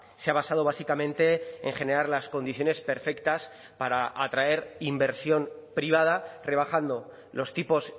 se ha basado básicamente en generar las condiciones perfectas para atraer inversión privada rebajando los tipos